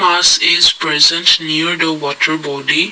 says present near the water boby.